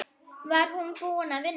Var hún búin að vinna?